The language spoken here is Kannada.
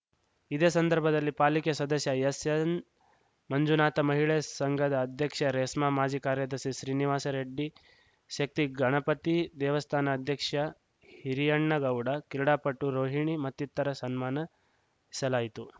ಇದೇ ಸಂದರ್ಭದಲ್ಲಿ ಪಾಲಿಕೆ ಸದಸ್ಯ ಎಸ್‌ಎನ್‌ಮಂಜುನಾಥ ಮಹಿಳಾ ಸಂಘದ ಅಧ್ಯಕ್ಷೆ ರೇಸ್ಮಾ ಮಾಜಿ ಕಾರ್ಯದರ್ಶಿ ಶ್ರೀನಿವಾಸ್‌ರೆಡ್ಡಿ ಶಕ್ತಿ ಗಣಪತಿ ದೇವಸ್ಥಾನ ಅಧ್ಯಕ್ಷ ಹಿರಿಯಣ್ಣಗೌಡ ಕ್ರೀಡಾಪಟು ರೋಹಿಣಿ ಮತ್ತಿತರ ಸನ್ಮಾನಸಲಾಯಿತು